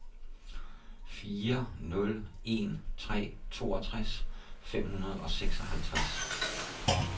fire nul en tre toogtres fem hundrede og seksoghalvtreds